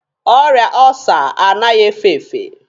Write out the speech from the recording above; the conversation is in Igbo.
Ọrịa ọọsa anaghị efe efe.